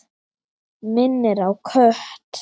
Minnir á kött.